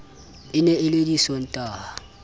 e ne e le disontaha